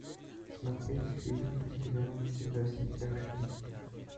смотреть фильм по сериалу во все тяжкие